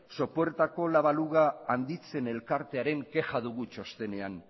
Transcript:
sopuertako la baluga handitzen elkartearen kexa dugu txostenean